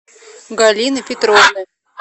галины петровны